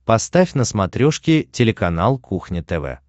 поставь на смотрешке телеканал кухня тв